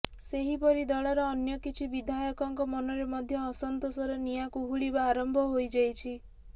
ସେହିପରି ଦଳର ଅନ୍ୟ କିଛି ବିଧାୟକଙ୍କ ମନରେ ମଧ୍ୟ ଅସନ୍ତୋଷର ନିଆଁ କୁହୁଳିବା ଆରମ୍ଭ ହୋଇଯାଇଛି